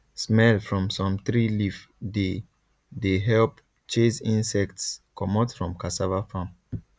smell from some tree leaf dey dey help chase insects comot from cassava farm